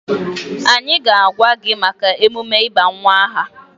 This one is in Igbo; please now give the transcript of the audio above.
Anyị ga-agwa gị maka emume ịba nwa aha.